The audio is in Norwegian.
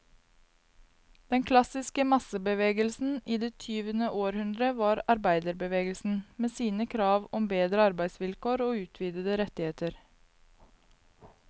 Den klassiske massebevegelsen i det tyvende århundre var arbeiderbevegelsen, med sine krav om bedre arbeidsvilkår og utvidede rettigheter.